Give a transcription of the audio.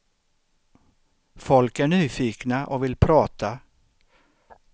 Folk är nyfikna och vill prata.